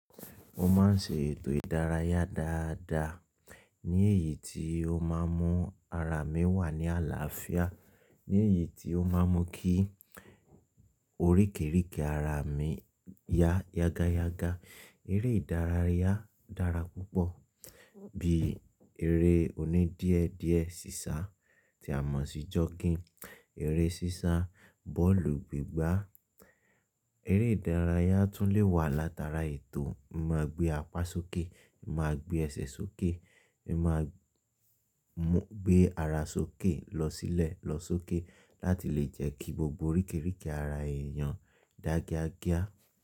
Mo ma n ṣe ètò ìdárayá dáadáa ní èyí tí ó ma n mú ara mi wà ní àlàáfíà, ní èyí tí ó ma n mú kí oríkèéríkèé ara mi yá yágá yágá. Eré ìdárayá dára púpọ̀ bí e eré oní díẹ̀ díẹ̀ sísá tí a mọ̀ sí joggin, eré sísá, bọ́ọ̀lù gbígbá. Eré ìdárayá tún lè wà látara ètò máa gbé apá sókè, máa gbé ẹsẹ̀ sókè, máa gbé ara sókè lọ sílẹ̀ lọ sókè láti lè jẹ́ kí gbogbo oríkèéríkèé ara èèyàn dágíádágíá.